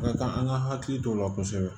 Ka kan an ka hakili to o la kosɛbɛ